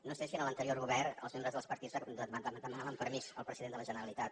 no sé si en l’anterior govern els membres dels partits demanaven permís al president de la generalitat